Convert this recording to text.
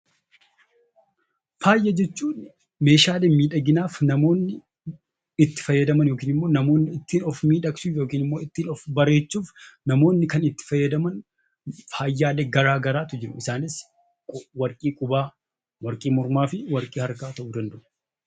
Faaya jechuun meeshaalee miidhaginaaf namoonni itti fayyadaman yookiin immoo ittiin of miidhagsuuf yookiin immoo ittiin of bareechuuf namoonni kan itti fayyadaman faayaalee gara garaatu jiru. Isaanis warqii qubaa, warqii mormaa fi warqii harkaa ta'uu danda'u.